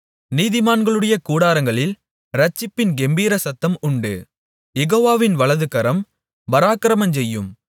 நீதிமான்களுடைய கூடாரங்களில் இரட்சிப்பின் கெம்பீர சத்தம் உண்டு யெகோவாவின் வலதுகரம் பராக்கிரமஞ்செய்யும்